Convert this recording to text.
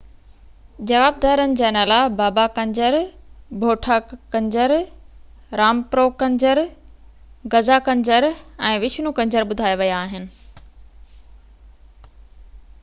جوابدارن جا نالا بابا ڪنجر ڀوٺا ڪنجر رامپرو ڪنجر غزا ڪنجر ۽ وشنو ڪنجر ٻڌايا ويا آهن